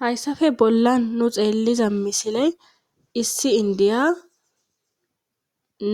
hayssafe bollan nu xeelliza misiley issi indiya